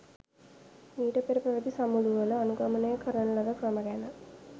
මීට පෙර පැවති සමුළුවල අනුගමනය කරන ලද ක්‍රම ගැන